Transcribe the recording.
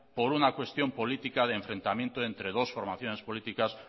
por una cuestión política de enfrentamiento entre dos formaciones políticas